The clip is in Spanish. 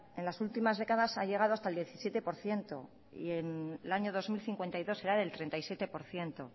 en las últimas décadas ha llegado hasta el diecisiete por ciento y en el año dos mil cincuenta y dos será del treinta y siete por ciento